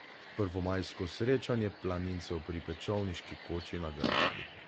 Prvomajsko srečanje planincev pri Pečovniški koči na Grmadi.